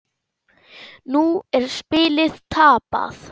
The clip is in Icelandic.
Nú er spilið tapað.